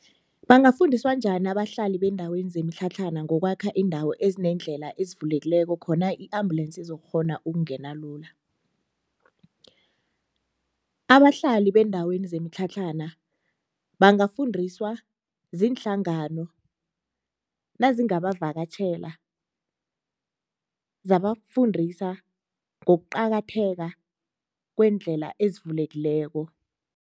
Bangafundiswa njani abahlali beendaweni zemitlhatlhana ngokwakha iindawo ezineendlela ezivulekilako khona i-ambulensi izokghona ukungena lula? Abahlali beendaweni zemitlhatlhana bangafundiswa ziinhlangano nazingabavakatjhela zabafundisa ngokuqakatheka kweendlela ezivulekilelako.